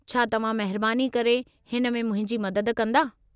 छा तव्हां महिरबानी करे हिन में मुंहिंजी मदद कंदा?